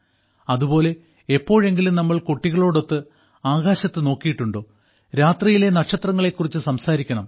അതുപോലെ എപ്പോഴെങ്കിലും നമ്മൾ കുട്ടികളോടൊത്ത് ആകാശത്ത് നോക്കിയിട്ടുണ്ടോ രാത്രിയിലെ നക്ഷത്രങ്ങളെക്കുറിച്ച് സംസാരിക്കണം